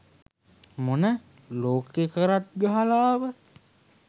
මොන ලෝකෙ කරක් ගහලා ආවත්